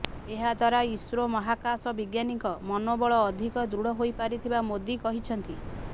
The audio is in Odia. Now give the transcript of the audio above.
ଏହା ଦ୍ୱାରା ଇସ୍ରୋ ମହାକାଶ ବିଜ୍ଞାନୀଙ୍କ ମନୋବଳ ଅଧିକ ଦୃଢ଼ ହୋଇପାରିଥିବା ମୋଦି କହିଛନ୍ତି